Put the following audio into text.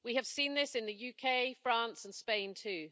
We have seen this in the UK, France and Spain, too.